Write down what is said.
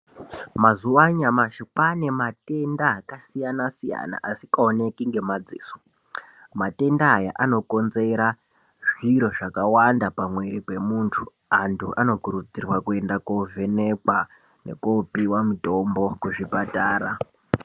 Mazuva anyamashi kwaane matenda akasiyana siyana asikaoneki ngemadziso, matenda aya anokonzera zviro zvakawanda pamuwiri wemuntu, antu anokurudzirwa kuenda kovhenekwa nekopiwa mutombo kuzvipatara.